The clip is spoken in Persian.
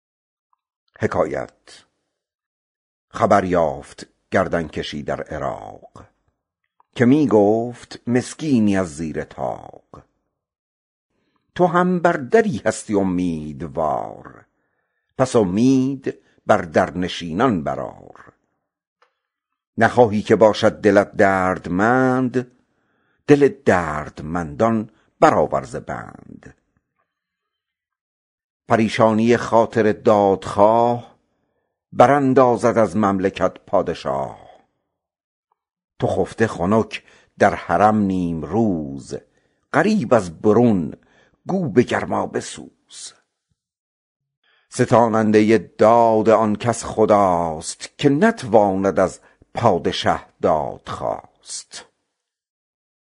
خبر یافت گردن کشی در عراق که می گفت مسکینی از زیر طاق تو هم بر دری هستی امیدوار پس امید بر در نشینان برآر نخواهی که باشد دلت دردمند دل دردمندان برآور ز بند پریشانی خاطر دادخواه براندازد از مملکت پادشاه تو خفته خنک در حرم نیمروز غریب از برون گو به گرما بسوز ستاننده داد آن کس خداست که نتواند از پادشه دادخواست